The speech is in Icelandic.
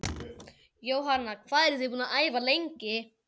Jóhanna: Hvað eruð þið búin að æfa lengi?